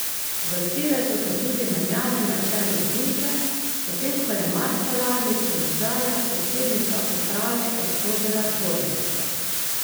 Vrstile so se tudi menjave na čelu družbe, potem ko je marca lani s položaja predsednica uprave odstopila Dvorjakova.